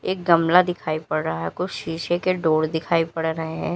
एक गमला दिखाई पड़ रहा है कुछ शीशे के डोर दिखाई पड़ रहे हैं।